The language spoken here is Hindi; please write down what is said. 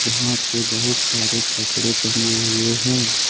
यहां पे बहुत सारे कपड़े टंगे हुए हैं।